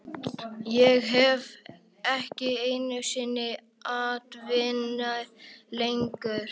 Ég hef ekki einu sinni atvinnu lengur